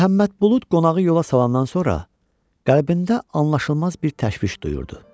Məhəmməd Bulud qonağı yola salandan sonra qəlbində anlaşılmaz bir təşviş duyurdu.